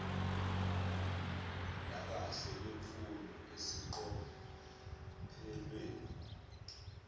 nakahle kwemfundo eseqophelweni